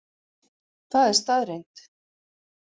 Það er staðreynd